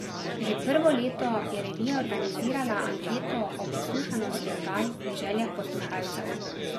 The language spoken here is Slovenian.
Že prvo leto je revija organizirala anketo o poslušanosti oddaj in željah poslušalcev.